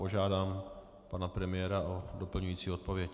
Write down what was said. Požádám pana premiéra o doplňující odpověď.